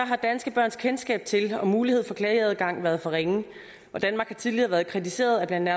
har danske børns kendskab til og mulighed for klageadgang været for ringe og danmark har tidligere været kritiseret af blandt